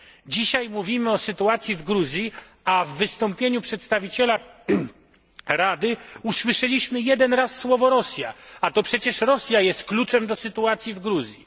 Dzisiaj mówimy o sytuacji w Gruzji, a w wystąpieniu przedstawiciela Rady usłyszeliśmy jeden raz słowo Rosja, a to przecież Rosja jest kluczem do sytuacji w Gruzji.